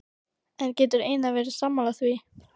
En getur Einar verið sammála því?